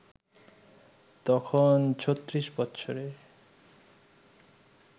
তখন ৩৬ বৎসরের